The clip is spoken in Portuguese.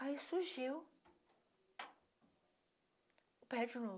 Aí surgiu o pé de novo.